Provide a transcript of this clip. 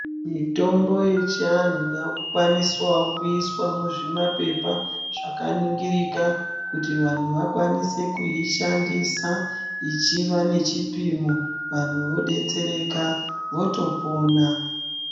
Mitombo yechiantu yakukwaniswawo kuyiswa muzvimapepa zvakaningirika kuti vantu vakwanise kuyishandisa , ichiva nechipimo, vantu vodetsereka votopona.